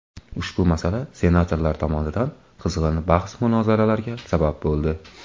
Ushbu masala senatorlar tomonidan qizg‘in bahs-munozaralarga sabab bo‘ldi.